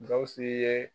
Gawusu ye